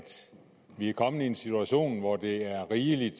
vi er kommet i en situation hvor det er rimeligt